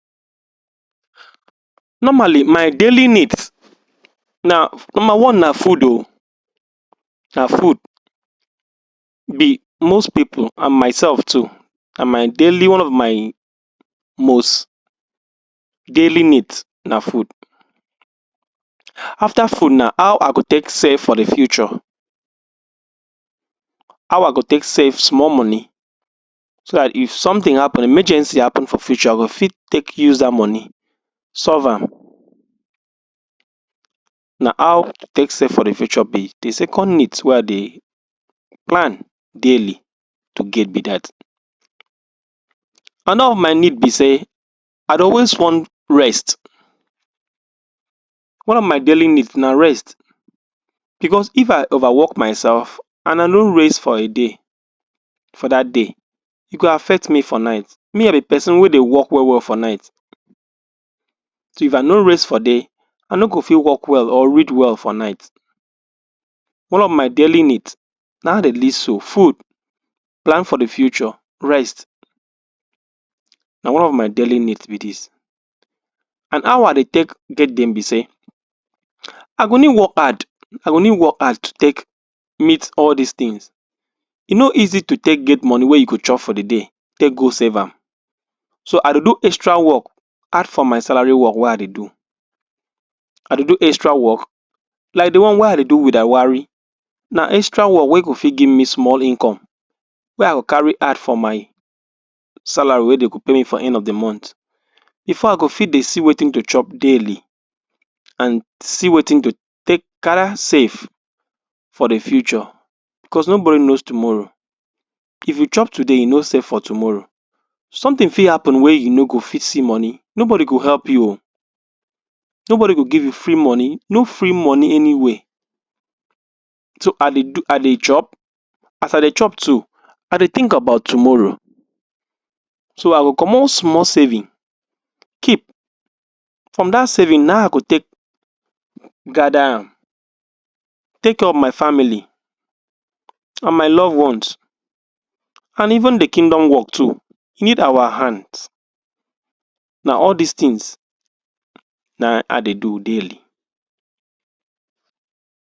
normally my daily need na number one na food ooo na food be most people and myself too and my daily one of my most daily need na food after food na how i go take save for the future how i go take save small money so that if something happen emergency happen for future i go fit take use that money so that na how i take save for the future? the second need wey i dey plan daily to get be that another of my need be say i dey always want rest one of my daily need na rest because if i over work Myself and i no rest for a day for that day e go affect me for night me i be person wey i go work well well for night so if i no rest for day i no go fit work well or read well for night one of my daily need na him i dey list so food plan for the future, rest na one of my daily need be this and how i dey take get them be say i go need work hard i go need work hard take meet all this thing e no easy to take get money wey you go chop for the day take go save am so i dey do extra work add for my salary work wey i dey do i dey do extra work like the one wey i dey do with? na extra work wey go fit give me small income wey i go carry add for my salary wey dey go pay me for end of the month before i go fit dey see wetin to chop daily and see wetin to take? save for the future because nobody knows tommorow if you chop today you no save for tommorow something fit happen wey you no fit see money nobody go help you ooo nobody go give you free money no free money anywhere so dey do i dey drop as i dey chop too i dey think about tomorrow so i go commot small saving keep from that saving na him i go take gather am take care of my family and my loved once and even the kingdom work too need our hands na all this things na him i dey do daily